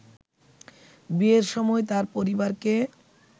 বিয়ের সময় তার পরিবারকে